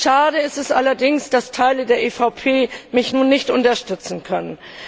Schade ist es allerdings, dass Teile der EVP mich nun nicht unterstützen können.